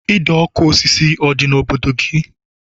Ide ọkụ osisi ọ dị n'obodo gị?